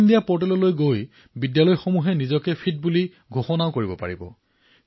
fit India পৰ্টেললৈ গৈ বিদ্যালয়ে নিজকে ফিট ঘোষিত কৰিব পাৰে